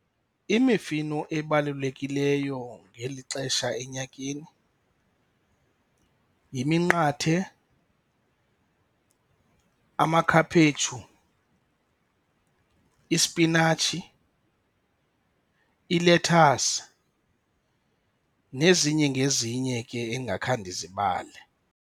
Imifino ebalulekileyo ngeli xesha enyakeni yiminqathe, amakhaphetshu, ispinatshi, ilethasi, nezinye ngezinye ke endingakhange ndizibale.